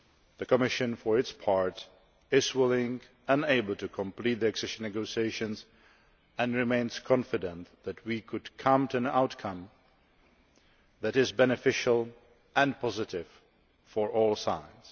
The Commission, for its part, is willing and able to complete the accession negotiations and remains confident that we can reach an outcome that is beneficial and positive for all sides.